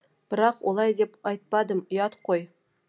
бірақ олай деп айтпадым ұят қой